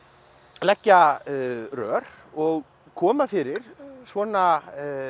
leggja rör og koma fyrir svona